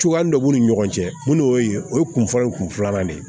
Cogoya dɔ b'u ni ɲɔgɔn cɛ mun y'o ye o ye kun fɔlɔ ye kun filanan de ye